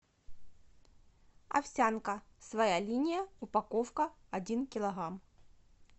овсянка своя линия упаковка один килограмм